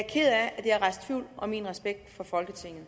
er rejst tvivl om min respekt for folketinget